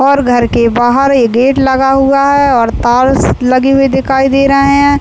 और घर के बाहर एक गेट लगा हुआ है और तार्स लगे हुए दिखाई दे रहे हैं।